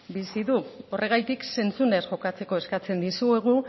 bizi du horregatik zentzunez jokatzeko eskatzen dizuegu